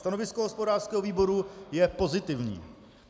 Stanovisko hospodářského výboru je pozitivní.